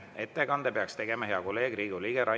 Ettekande peaks tegema hea kolleeg, Riigikogu liige Rain Epler.